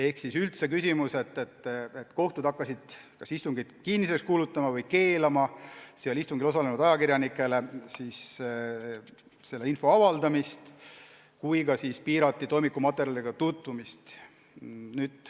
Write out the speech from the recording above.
Kohtud nimelt hakkasid kas istungeid kinniseks kuulutama või keelama istungitel osalenud ajakirjanikel nende kohta infot avaldamast, samuti piirati toimikumaterjalidega tutvumist.